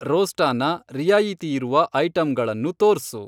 ರೋಸ್ಟಾ ನ ರಿಯಾಯಿತಿಯಿರುವ ಐಟಂಗಳನ್ನು ತೋರ್ಸು.